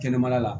Kɛnɛmana la